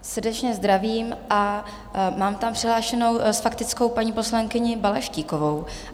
Srdečně zdravím a mám tam přihlášenou s faktickou paní poslankyni Balaštíkovou.